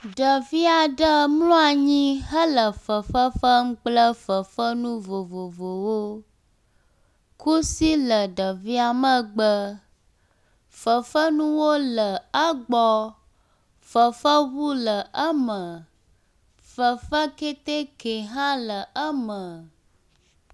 Ɖevi aɖe mlɔ nyi hele fefe fem kple fefenu vovovowo. Kusi le ɖevia megbe. Fefenuwo le egbɔ. Fefenu ŋu le eme. Fefe kɛtɛkɛ hã le eme.